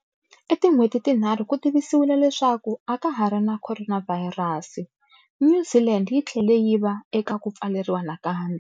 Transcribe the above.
I tin'hweti tinharhu ku tivisiwile leswaku aka hari na khoronavhayirasi, New Zealand yi tlhele yi va eka ku pfaleriwa nakambe.